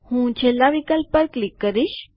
હું છેલ્લા વિકલ્પ પર ક્લિક કરીશ